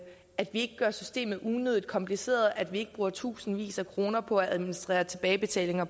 ikke gør systemet unødigt kompliceret at vi ikke bruger tusindvis af kroner på at administrere tilbagebetalinger